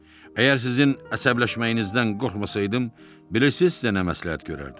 Əgər sizin əsəbləşməyinizdən qorxmasaydım, bilirsiz də nə məsləhət görərdim?